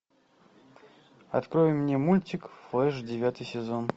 открой мне мультик флэш девятый сезон